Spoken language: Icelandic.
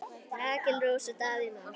Rakel Rós og Davíð Már.